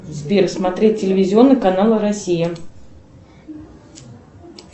сбер смотреть телевизионный канал россия